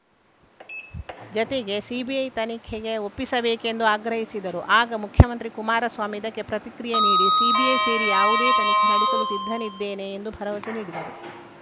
ಜತೆಗೆ ಸಿಬಿಐ ತನಿಖೆಗೆ ಒಪ್ಪಿಸಬೇಕೆಂದೂ ಆಗ್ರಹಿಸಿದರು ಆಗ ಮುಖ್ಯಮಂತ್ರಿ ಕುಮಾರಸ್ವಾಮಿ ಇದಕ್ಕೆ ಪ್ರತಿಕ್ರಿಯೆ ನೀಡಿ ಸಿಬಿಐ ಸೇರಿ ಯಾವುದೇ ತನಿಖೆ ನಡೆಸಲು ಸಿದ್ಧನಿದ್ದೇನೆ ಎಂದು ಭರವಸೆ ನೀಡಿದರು